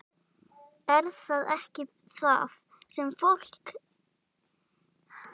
Er það ekki það sem fólki er innrætt í dag?